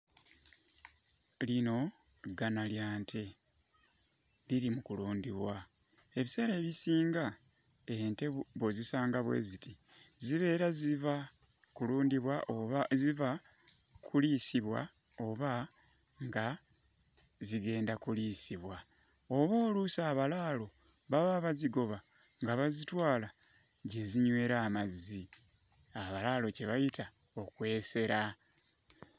Lino ggana lya nte liri mu kulundibwa. Ebiseera ebisinga ente bw'ozisanga bwe ziti zibeera ziva kulundibwa oba ziva kuliisibwa oba nga zigenda kuliisibwa. Oba oluusi abalaalo baba bazigoba nga bazitwala gye zinywera amazzi. Abalaalo kye bayita okwesera.